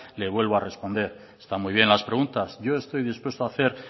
le vuelvo a responder están muy bien las preguntas yo estoy dispuesto a hacer